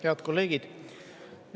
Head kolleegid!